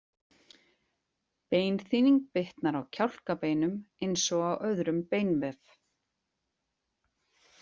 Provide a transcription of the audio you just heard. Beinþynning bitnar á kjálkabeinum eins og á öðrum beinvef.